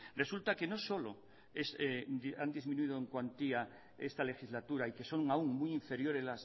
resulta que no solo ha disminuido en cuantía esta legislatura y que son aún muy inferiores